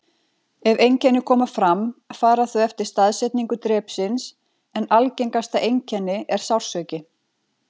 Ef einkenni koma fram fara þau eftir staðsetningu drepsins, en algengasta einkenni er sársauki.